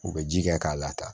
U bɛ ji kɛ k'a lataa